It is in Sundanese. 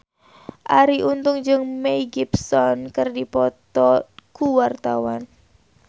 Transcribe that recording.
Arie Untung jeung Mel Gibson keur dipoto ku wartawan